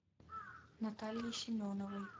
натальей семеновой